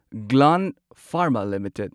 Gland Pharma limited